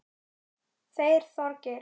Þeir Þorgeir